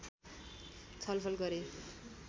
छलफल गरे